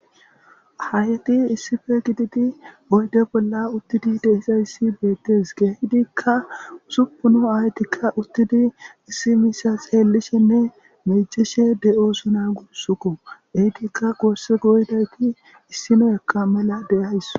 Aayeti issipe gididi oyde bola uthidi dizaysa beetes keehidika usupun uthidi issi miisha xeelishene miicishe de'osona gusako eetika goosa goyidayti issinaka mela de'awus.